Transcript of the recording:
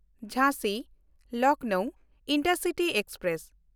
ᱡᱷᱟᱸᱥᱤ-ᱞᱚᱠᱷᱱᱚᱣ intercity express